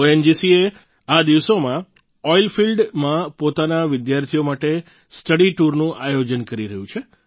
ONGC આ દિવસોમાં oil field માં પોતાના વિદ્યાર્થીઓ માટે સ્ટડી ટૂરનું આયોજન કરી રહ્યું છે